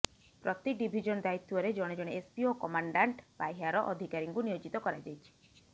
ପ୍ରତି ଡିଭିଜନ୍ ଦାୟିତ୍ୱରେ ଜଣେ ଜଣେ ଏସ୍ପି ଓ କମାଣ୍ଡାଣ୍ଟ୍ ପାହ୍ୟାର ଅଧିକାରୀଙ୍କୁ ନିୟୋଜିତ କରାଯାଇଛି